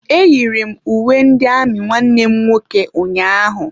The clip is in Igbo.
Eyiri m uwe ndị amị nwanne m nwoke ụnyaahụ.